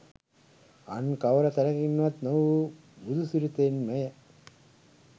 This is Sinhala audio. අන් කවර තැනකින්වත් නොව බුදුසිරිතෙන්මය